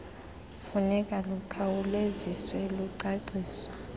funeka lukhawuleziswe lwacaciswa